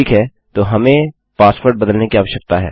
ठीक है तो हमें पासवर्ड बदलने की आवश्यकता है